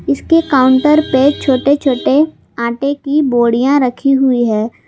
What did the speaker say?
इसके काउंटर पे छोटे छोटे आटे की बोड़ीया रखी हुई है।